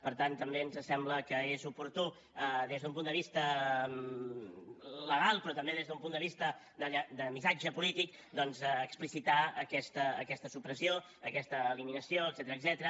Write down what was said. per tant també ens sembla que és oportú des d’un punt de vista legal però també des d’un punt de vista de missatge polític doncs explicitar aquesta supressió aquesta eliminació etcètera